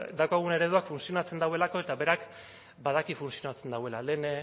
daukagun ereduak funtzionatzen duelako eta berak badaki funtzionatzen duela lehen